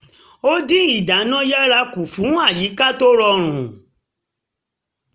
ó dín iná yàrá kù fún àyíká tó rọrùn